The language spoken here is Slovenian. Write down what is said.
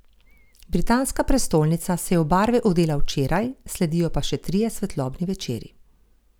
Britanska prestolnica se je v barve odela včeraj, sledijo pa še trije svetlobni večeri.